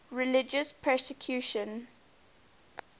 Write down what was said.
religious persecution